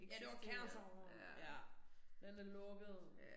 Ja det var Kærseren ja. Den er lukket